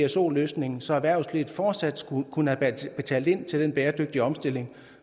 pso løsningen så erhvervslivet fortsat kunne have betalt ind til den bæredygtige omstilling